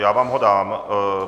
Já vám ho dám.